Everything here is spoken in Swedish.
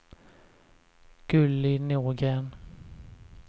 Gulli Norgren